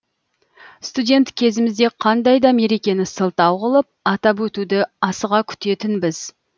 студент кезімізде қандай да мерекені сылтау қылып атап өтуді асыға күтетінбіз